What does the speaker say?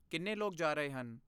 ਕਿੰਨੇ ਲੋਕ ਜਾ ਰਹੇ ਹਨ?